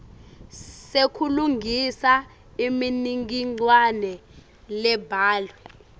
sekulungisa imininingwane lebhalwe